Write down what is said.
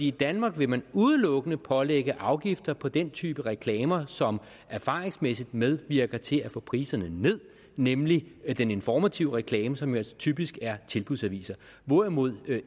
i danmark vil man udelukkende pålægge afgifter på den type reklamer som erfaringsmæssigt medvirker til at få priserne ned nemlig den informative reklame som jo altså typisk er en tilbudsavis hvorimod